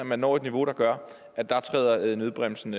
man når et niveau der gør at der træder nødbremsen